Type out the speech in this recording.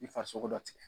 I farisogo dɔ tigɛ